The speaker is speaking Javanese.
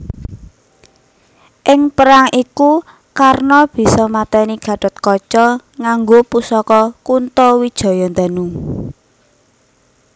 Ing perang iku Karna bisa maténi Gathotkaca nganggo pusaka Kuntowijoyondanu